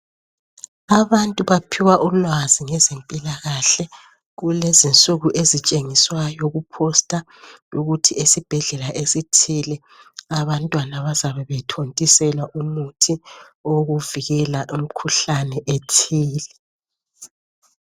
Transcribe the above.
Abantu baphiwa ulwazi ngezempilakahle kulezinsuku ezitshengiswayo kuphosta ukuthi esibhedlela esithile abantwana bazabe bethontiselwa umuthi owokuvikela imkhuhlane ethile.